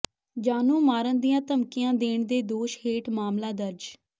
ਜਾਨੋਂ ਮਾਰਨ ਦੀਆਂ ਧਮਕੀਆਂ ਦੇਣ ਦੇ ਦੋਸ਼ ਹੇਠ ਮਾਮਲਾ ਦਰਜ